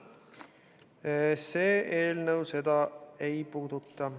See eelnõu seda ei puuduta.